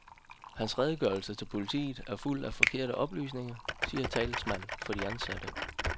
Hans redegørelse til politiet er fuld af forkerte oplysninger, siger talsmand for de ansatte.